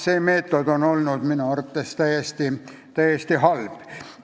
See meetod on olnud minu arvates täiesti halb.